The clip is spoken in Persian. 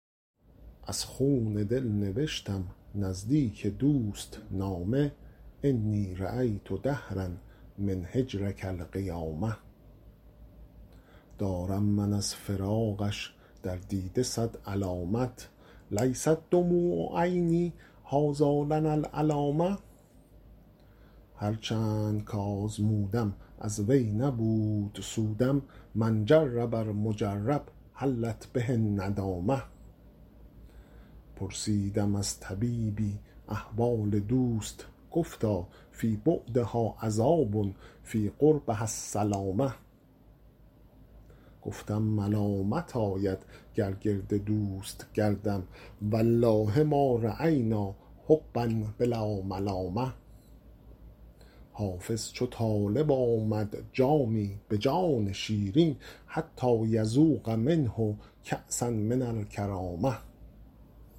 از خون دل نوشتم نزدیک دوست نامه انی رأیت دهرا من هجرک القیامه دارم من از فراقش در دیده صد علامت لیست دموع عینی هٰذا لنا العلامه هر چند کآزمودم از وی نبود سودم من جرب المجرب حلت به الندامه پرسیدم از طبیبی احوال دوست گفتا فی بعدها عذاب فی قربها السلامه گفتم ملامت آید گر گرد دوست گردم و الله ما رأینا حبا بلا ملامه حافظ چو طالب آمد جامی به جان شیرین حتیٰ یذوق منه کأسا من الکرامه